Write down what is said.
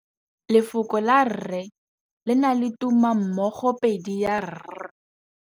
Lefoko la rre, le na le tumammogôpedi ya, r.